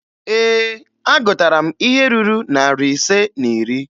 Ee, agụtara m ihe ruru narị ise na iri.